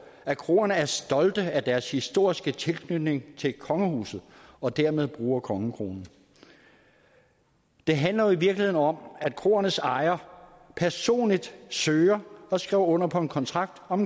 at kroerne er stolte af deres historiske tilknytning til kongehuset og dermed bruger kongekronen det handler jo i virkeligheden om at kroernes ejere personligt søgte om og skrev under på en kontrakt om